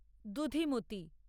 দুধিমতি